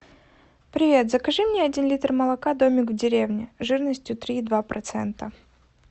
привет закажи мне один литр молока домик в деревне жирностью три и два процента